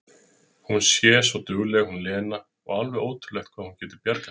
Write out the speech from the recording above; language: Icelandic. Hún sé svo dugleg hún Lena, og alveg ótrúlegt hvað hún geti bjargað sér!